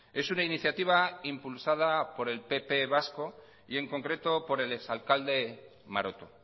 es una iniciativa impulsada por el pp vasco y en concreto por el exalcalde maroto